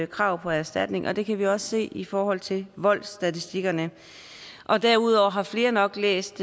krav på erstatning og det kan vi også se i forhold til voldsstatistikkerne derudover har flere nok læst